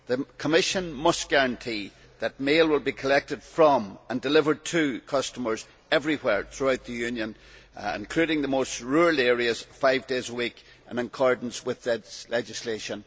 The Commission must guarantee that mail will be collected from and delivered to customers everywhere throughout the Union, including the most rural areas, five days a week in accordance with the legislation.